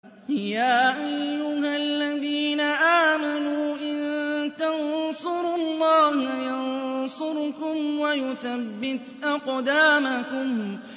يَا أَيُّهَا الَّذِينَ آمَنُوا إِن تَنصُرُوا اللَّهَ يَنصُرْكُمْ وَيُثَبِّتْ أَقْدَامَكُمْ